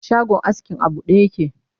shagon askin a buɗe yake